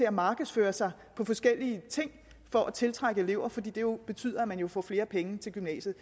at markedsføre sig på forskellige ting for at tiltrække elever fordi det jo betyder at man kan få flere penge til gymnasiet